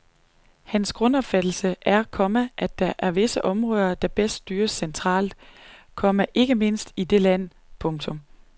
Hans grundopfattelse er, komma at der er visse områder der bedst styres centralt, komma ikke mindst i et lille land. punktum